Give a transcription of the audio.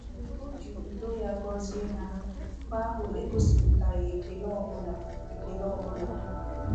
Mgbe o ji udo ya gọzie ha, mba ahụ egosipụtaghị ekele ọ ọbụla ekele ọ ọbụla.